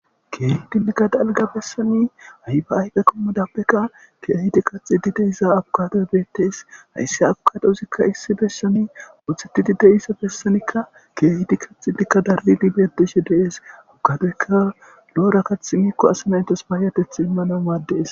keehidi mika dalga bessani hayba ayda qommodapbekka keehiti qaxi di de isa abukade bettes hayssi abukadousikka issi bessani oothetidi de issa bessanikka keehidi kaxidikka darlidibeedishe dees ukadeyka lo7ora kath miikko asi nayntas baayateth immana maaddees